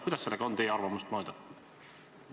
Kuidas sellega teie arvamust mööda lood on?